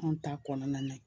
Anw ta kɔnɔna na yen